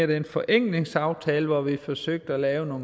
den forenklingsaftale hvor vi forsøgte at lave noget